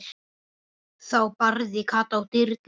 Þá barði Kata á dyrnar.